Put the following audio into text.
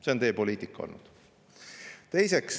See on teie poliitika olnud.